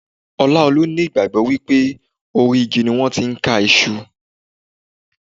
Olaolu ní ìgbàgbọ́ wípé orí igi ni wón ti ń ká Iṣu.